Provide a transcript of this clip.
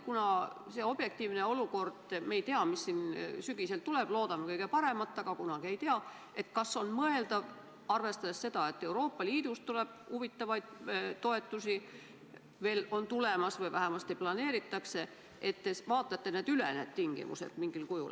Kuna me ei tea, milline objektiivne olukord meid sügisel ees ootab – loodame kõige paremat, aga kunagi ei tea –, siis kas on mõeldav, et te vaatate need tingimused mingil kujul üle, arvestades ka seda, et Euroopa Liidust tuleb huvitavaid toetusi juurde või vähemasti neid planeeritakse?